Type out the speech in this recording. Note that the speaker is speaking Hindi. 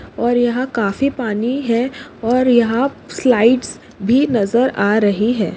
और यहा काफी पाणी है और यहा स्लाइड्स भी नजर आ रही है।